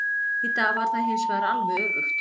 Í dag var það hinsvegar alveg öfugt.